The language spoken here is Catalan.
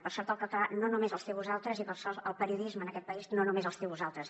per sort el català no només us té a vosaltres i per sort el periodisme en aquest país no només us té a vosaltres